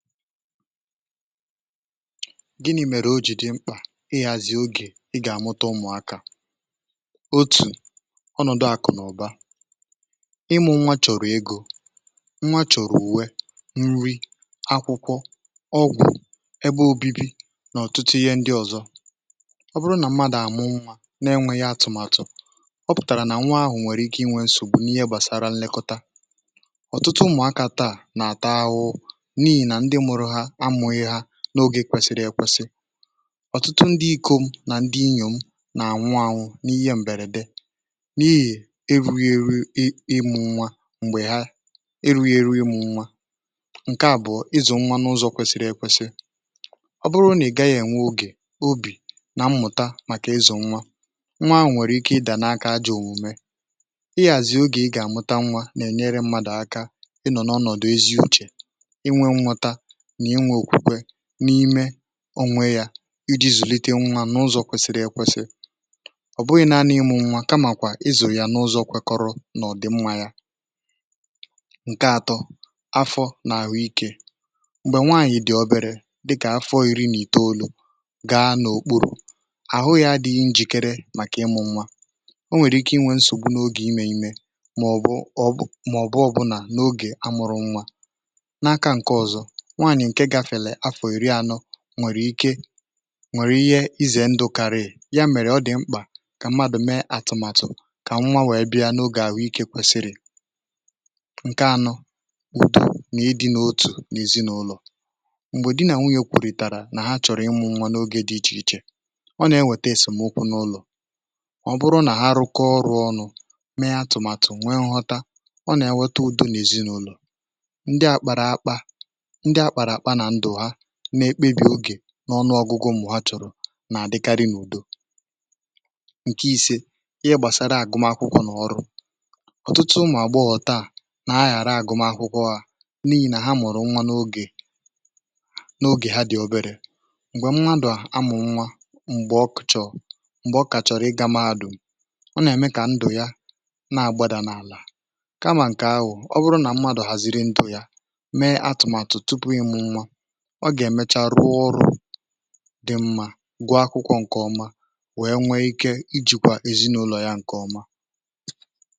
Gịnị mèrè o jì dị mkpà ịghàzị ogè ị gà-àmụta ụmụ̀akà, otù ọnọ̀dụ àkụ̀nàụ̀ba ịmụ̇ nwa chọ̀rọ̀ egȯ, nwa chọ̀rọ̀ ùwe nri, akwụkwọ, ọgwụ̇, ebe òbibi nà ọ̀tụtụ ihe ndi ọ̀zọ, ọ bụrụ nà mmadụ̀ àmụ nwa na-enwėghi atụ̀màtụ̀, ọ pụ̀tàrà nà nwa ahụ̀ nwèrè ike inwė nsògbu n’ihe gbàsara ǹlekọta n’ogè kwesiri ekwesị, ọ̀tụtụ ndị ikȯ m nà ndị inyò m nà ànwụ anwụ̇ n’ihe m̀bèrè dị n’ihì erughi eru ịmụ̇ nwa, m̀gbè ha ịrụ̇ghị̇ ėrụ̇ ịmụ̇ nwa ǹkè àbụọ ịzụ̀ nwa n’ụzọ̇ kwesiri ekwesị, um ọ bụrụ nà ị gaghị̇ ènwe ogè, obì nà mmụ̀ta, màkà ịzụ̀ nwa, nwa ànwụ̀ nwèrè ike ị dàna akȧ ajọ̇ òmùme, ị yàzị ogè ị gà-àmụta nwa nà-ènyere mmadụ̀ aka ị nọ̀ n’ọnọ̀dụ̀ ezi uchè n’ime onwe yȧ, iji̇ zùlite nwa n’ụzọ̀ kwesiri ekwesì ọ̀ bụghị̇ naa n’ịmụ̇ nwa, kamàkwà ịzụ̀ ya n’ụzọ̇ kwekọrụ nà ọ dị̀ nwa yȧ ǹke atọ afọ nà àhụ ikė, m̀gbè nwaànyị̀ dị̀ oberė, dịkà afọ òyìri nà ìtọolu̇, gaa n’okpuru̇ àhụ yȧ adịghị njìkere, màkà ịmụ̇ nwa o nwèrè ike inwė nsògbu n’ogè imè imè, mà ọ̀ bụ ọbụ̇, mà ọ̀ bụ ọbụnà n’ogè amụ̇rụ̇ nwa, nwèrè ike nwèrè ihe ɪzè ndʊ karɪ́ɪ̀ ya, mèrè ọ dị̀ mkpà kà mmadʊ̀ mee atụ̀màtụ̀ kà nwa wèe bịa n’ogè àhụikė kwesiri, ǹke anọ udo nà ịdị̇ n’otù n’èzinụlọ̀, m̀gbè di nà nwunyè kwùrìtàrà nà ha chọ̀rọ̀ ịmụ̇nwȧ n’oge dị ichè ichè, um ọ nà-enwètesèm ukwu n’ụlọ̀, ọ bụrụ nà ha rụkọọ ọrụ̇ ọnụ̇, mee atụ̀màtụ̀ nwe nghọta, ọ nà-enwọta udo n’èzinụlọ̀, na-ekpebì ogè n’ọnụ ọgụgụ, m̀gbè ha chọ̀rọ̀ nà-àdịkarị n’ùdo nke ise, ihe gbàsara àgụmakwụkwọ̀ n’ọrụ, ọtụtụ ụmụ̀ àgbọghọ̀ taà nà-ahà agụma akwụkwọ̀, hà n’ihì nà ha mụ̀rụ̀ nwa n’ogè n’ogè ha dị̀ oberė, m̀gbè m̀madụ̀ amụ̀ nwa, m̀gbè ọkụ̀ chọ̀rọ̀, m̀gbè ọkà chọrọ̀ ịgȧ madụ̀, ọ nà-ème kà ndụ̀ ya na-àgbàdà n’àlà, kamà ǹkè ahụ̀, ọ bụrụ nà m̀madụ̀ hàziri ndụ̇ ya, ọ gà-èmecha rụọ ọrụ̇ dị mma, gụ̀ọ akwụkwọ ǹkè ọma, wee nwee ike ijikwa èzinụlọ̀ ya ǹkè ọma.